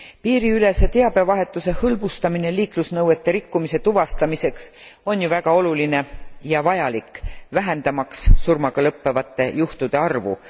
Piiriülese teabevahetuse hõlbustamine liiklusnõuete rikkumise tuvastamiseks on ju väga oluline ja vajalik vähendamaks surmaga lõppevate juhtumite arvu.